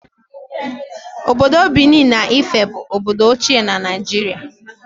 Obodo Benin na Ife bụ obodo ochie na Naịjirịa